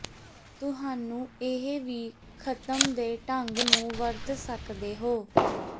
ਤੁਹਾਨੂੰ ਇਹ ਵੀ ਖਤਮ ਦੇ ਢੰਗ ਨੂੰ ਵਰਤ ਸਕਦੇ ਹੋ